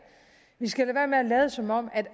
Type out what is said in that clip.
vi skal lade være med at lade som om